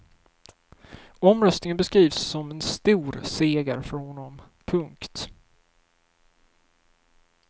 Omröstningen beskrivs som en stor seger för honom. punkt